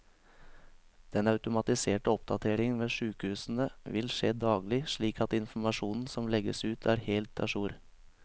Den automatiserte oppdateringen ved sykehusene vil skje daglig, slik at informasjonen som legges ut er helt a jour.